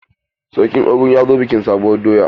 Sarkin Ogun ya zo bikin sabuwur doya.